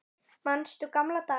Manstu gamla daga?